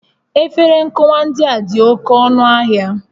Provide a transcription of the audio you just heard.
Efere nkụwa ndị a dị oke ọnụ ahịa